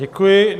Děkuji.